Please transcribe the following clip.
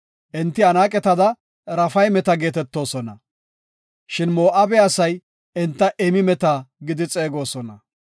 Enti Anaaqetada Raafaymeta geetetoosona. Shin Moo7abe asay enta Emimeta gidi xeegosona.